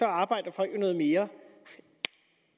arbejder folk jo noget mere